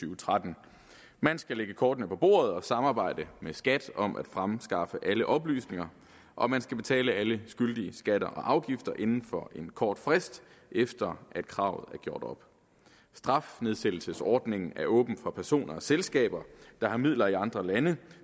og tretten man skal lægge kortene på bordet og samarbejde med skat om at fremskaffe alle oplysninger og man skal betale alle skyldige skatter og afgifter inden for en kort frist efter at kravet er gjort op strafnedsættelsesordningen er åben for personer og selskaber der har midler i andre lande